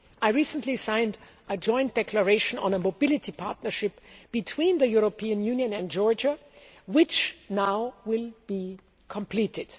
I recently signed a joint declaration on a mobility partnership between the European Union and Georgia which now will be completed.